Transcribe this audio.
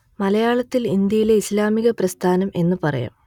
മലയാളത്തിൽ ഇന്ത്യയിലെ ഇസ്ലാമിക പ്രസ്ഥാനം എന്നു പറയാം